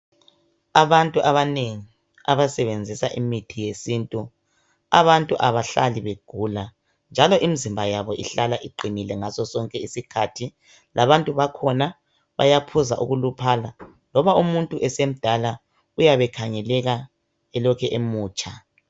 abantu abanengi abasebenzisa imithi yesintu abantu abahlali begula njalo imizimba yabo ihlala iqinile ngaso sonke isikhathi labantu bakhona bayaphuza ukuluphala loba umuntu esemdala uyabe ekhangeleka elokhe emutsha